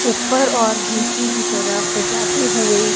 ऊपर और नीचे की तरफ जाते हुए--